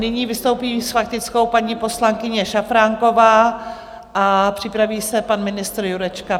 Nyní vystoupí s faktickou paní poslankyně Šafránková a připraví se pan ministr Jurečka.